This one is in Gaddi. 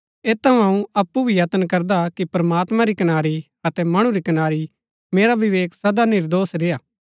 ऐत थऊँ अऊँ अप्पु भी यत्न करदा कि प्रमात्मां री कनारी अतै मणु री कनारी मेरा विवेक सदा निर्दोष रेय्आ